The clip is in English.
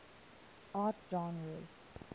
art genres